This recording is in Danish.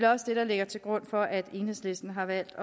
også det der ligger til grund for at enhedslisten har valgt